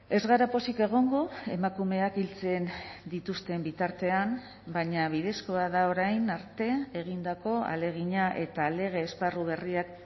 ez gara pozik egongo emakumeak hiltzen dituzten bitartean baina bidezkoa da orain arte egindako ahalegina eta lege esparru berriak